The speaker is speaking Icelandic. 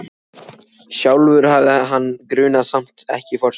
Sjálfur hafði hann mann grunaðan, samt ekki Forsetann.